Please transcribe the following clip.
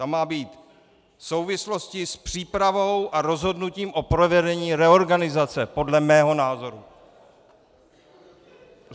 Tam má být souvislosti s přípravou a rozhodnutím o provedení reorganizace podle mého názoru.